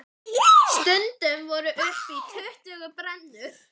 Stundum voru upp í tuttugu brennur.